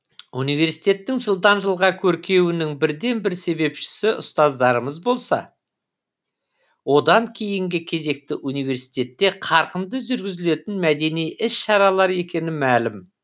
университеттің жылдан жылға көркеюінің бірден бір себепшісі ұстаздарымыз болса одан кейінгі кезекте университетте қарқынды жүргізілетін мәдени іс шаралар екені мәлім